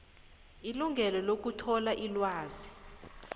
ilungelo lokuthola ilwazi